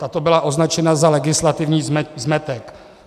Tato byla označena za legislativní zmetek.